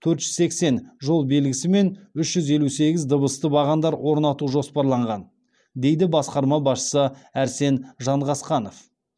төрт жүз сексен жол белгісі мен үш жүз елу сегіз дыбысты бағандар орнату жоспарланған дейді басқарма басшысы арсен жанғасқанов